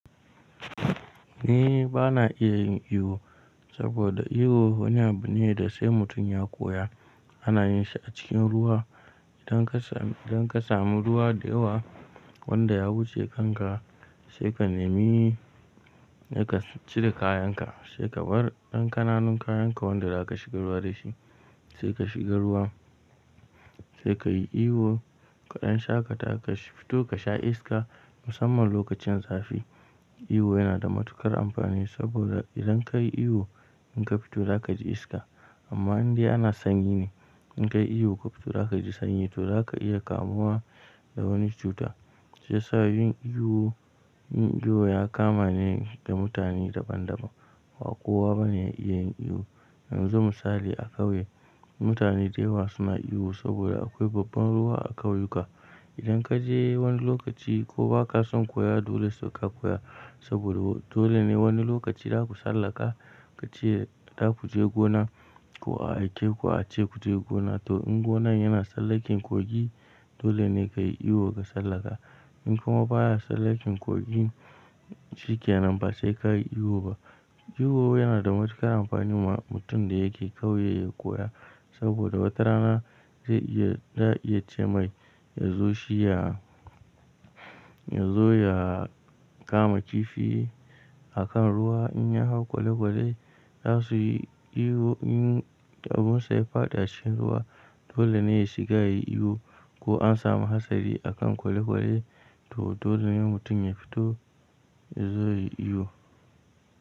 Ni ba na iya yin iyo saboda iyo wani abu ne da sai mutum ya koya. Ana yin shi a cikin ruwa idan ka sami. Idan ka samu ruwa da yawa wanda ya wuce kanka sai ka nemi sai ka cire kayan ka, sai ka bar ɗan ƙananun kayan ka wanda za ka shiga ruwa dashi sai ka shiga ruwa sai ka yi iyo. Ɗan shaƙata ka fito ka sha iska musamman lokacin zafi. Iyo yana da matuƙar amfani saboda idan ka yi iyo in ka fito za ka ji iska. Amma in dai ana sanyi ne in kai iyo ka fito za ka ji sanyi to za ka iya kamuwa. Da wani cuta, shi ya sa yin iyo, yin iyo ya kama ne da mutane daban daban ba kowa bane ya iya yin iyo. Yanzu misali a ƙauye mutane da yawa suna iyo saboda akwai babban ruwa a ƙauyuka. Idan ka je wani lokaci ko ba ka son koya dole sai ka koya saboda dole ne wani lokaci za ku sallaka ka ce za ku je gona. Ko a aike ku a ce ku je gona to in gonan yana sallaken kogi. Dole ne kai iyo ka sallaka in kuma baya sallaken kogi shikenan ba sai ka yi iyo ba. Iyo yana da matuƙar amfani wa mutum da yake ƙauye ya koya. Saboda wata rana zai iya, za a iya ce mai ya zo shi ya, ya zo ya kama kifi. A kan ruwa in ya hau kwale-kwale za su yi iyo in abunsa ya faɗi a cikin ruwa dole ne ya shiga ya yi iyo. Ko an samu hatsari a kan kwale-kwale, to dole ne mutum ya fito. Ya zo ya yi iyo.